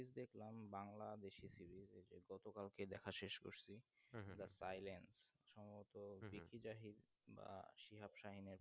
দেখলাম বাংলা বেশি series গত কালকে দেখা শেষ করছি island সম্ভবত বা